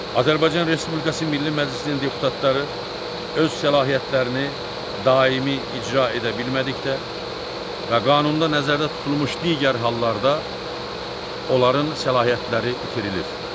Azərbaycan Respublikası Milli Məclisinin deputatları öz səlahiyyətlərini daimi icra edə bilmədikdə və qanunda nəzərdə tutulmuş digər hallarda onların səlahiyyətləri itirilir.